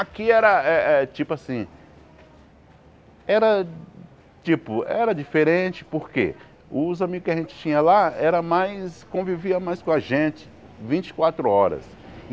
Aqui era eh eh, tipo assim... Era, tipo, era diferente porque os amigos que a gente tinha lá era mais, convivia mais com a gente, vinte e quatro horas.